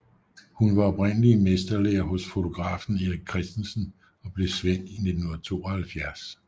Hun var oprindeligt i mesterlære hos fotografen Erik Christensen og blev svend 1972